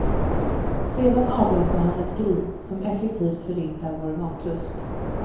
Sedan avlossar han ett grin som effektivt förintar vår matlust.